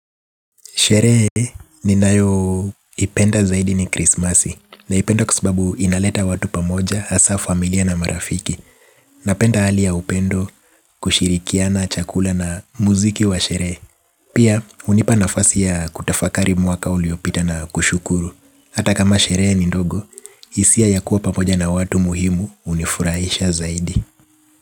Sherehe ninayo ipenda zaidi ni krismasi naipenda kwasababu inaleta watu pamoja hasa familia na marafiki napenda hali ya upendo kushirikiana chakula na muziki wa sherehe. Pia hunipa nafasi ya kutafakari mwaka uliopita na kushukuru. Hata kama sherehe ni ndogo, hisia ya kuwa pamoja na watu muhimu hunifurahisha zaidi.